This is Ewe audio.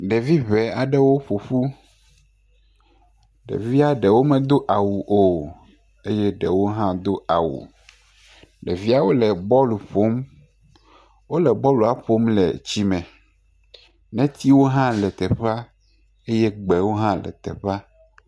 Ɖevi ŋŋ aɖewo ƒo ƒu, ɖevia ɖewo medo awu o, ɖewo hã do awu, ɖevia ɖewo le bɔl ƒom, wole bɔlua ƒom le tsi me, netiwo hã le teƒea eye gbewo hã le teƒea.